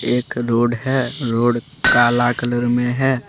एक रोड है रोड काला कलर में है।